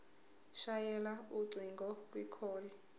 shayela ucingo kwicall